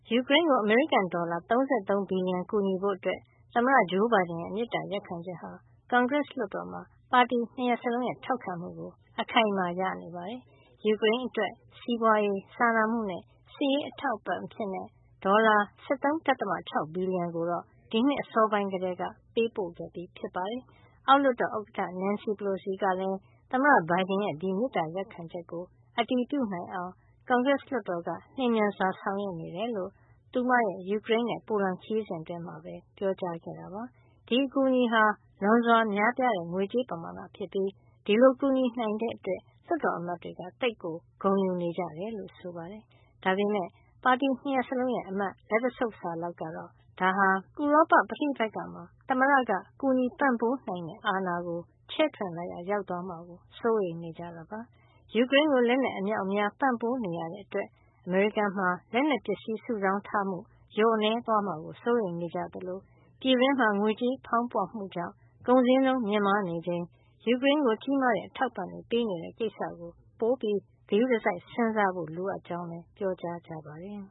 ယူကရိန်းကို အမေရိကန်ဒေါ်လာ ၃၃ ဘီလီယံ ကူညီဖို့ သမ္မတ ဂျိုးဘိုင်ဒန်ရဲ့ မေတ္တာရပ်ခံချက်ဟာ ကွန်ဂရက် လွှတ်တော်မှာ ပါတီ ၂ ရပ်စလုံးရဲ့ ထောက်ခံမှုကို အခိုင်အမာ ရရှိနေပါတယ်။ ယူကရိန်းအတွက် စီးပွါးရေး၊ စာနာမှုနဲ့ စစ်ရေးအထောက်အပံ့ အဖြစ် ဒေါ်လာ ၁၃.၆ ဘီလီယံကိုတော့ ဒီနှစ် အစောပိုင်းက ပေးပို့ခဲ့ပြီး ဖြစ်ပါတယ်။ အောက်လွှတ်တော် ဥက္ကဌာ Nancy Pelocy ကလည်း သမ္မတဘိုင်ဒန်ရဲ့ ဒီမေတ္တာ ရပ်ခံချက်ကို အတည်ပြုနိုင်အောင် ကွန်ဂရက်လွှတ်တော်က လျှင်မြန်စွာ ဆောင်ရွက်နေတယ်လို့ သူမရဲ့ ယူကရိန်းနဲ့ ပိုလန်ခရီးစဉ် အတွင်း ပြောခဲ့ပါတယ်။ ဒီအကူအညီဟာ လွန်စွာ များပြားတဲ့ ငွေကြေးပမာဏ ဖြစ်ပြီး ဒီလို ကူညီနိုင်တဲ့အတွက် လွှတ်တော် အမတ်တွေက သိပ်ကို ဂုဏ်ယူနေကြတယ်လို့ ဆိုပါတယ်။ ဒါပေမယ့် ပါတီ ၂ ရပ်စလုံးရဲ့ အမတ်လက်တဆုပ်စာလောက်ကတော့ ဒါဟာ ဥရောပ ပဋိပက္ခမှာ သမ္မတက ကူညီပံ့ပိုး နိုင်တဲ့ အာဏာကို ချဲ့ထွင်လိုက်ရာ ရောက်သွားမှာကို စိုးရိမ်နေကြပါတယ်။ ယူကရိန်းကို လက်နက် အမြောက်အများ ပံ့ပိုးနေရတဲ့ အတွက် အမေရိကန်မှာ လက်နက်ပစ္စည်း စုဆောင်းထားမှု လျော့နည်းသွားမှာ ကို စိုးရိမ်နေကြသလို ပြည်တွင်းမှာ ငွေကြေးဖေါင်းပွမှုကြောင့် ကုန်ဈေးနှုန်း မြင့်မားနေချိန် ယူကရိန်းကို ကြီးမားတဲ့ အထောက်အပံံံ့ တွေ ပေးနေတဲ့ ကိစ္စကို ပိုပြီး ဂရုတစိုက် စဉ်းစားဖို့ လိုကြောင်းလည်း ပြောကြပါတယ်